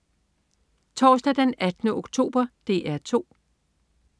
Torsdag den 18. oktober - DR 2: